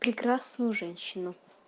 прекрасную женщину